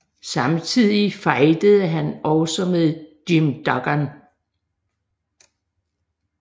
Samtidig fejdede han også med Jim Duggan